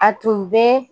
A tun bɛ